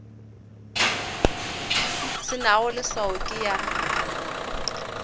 se nago leswao ke ya